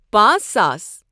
پانژھ ساس